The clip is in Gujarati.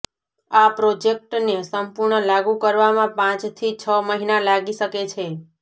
આ પ્રોજેક્ટને સંપૂર્ણ લાગુ કરવામાં પાંચથી છ મહિના લાગી શકે છે